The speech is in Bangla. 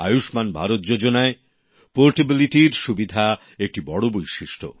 আয়ুষ্মান ভারত যোজনায় পোর্টেবিলিটির সুবিধা একটি বড় বৈশিষ্ট্য